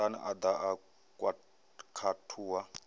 sun a ḓa a khathuwa